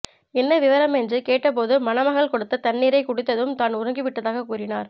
என்ன விவரம் என்று கேட்ட போது மணமகள் கொடுத்த தண்ணீரை குடித்ததும் தான் உறங்கி விட்டதாக கூறினார்